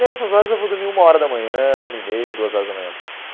Nessas horas eu vou dormir uma hora da manhã, uma e meia, duas horas da manhã.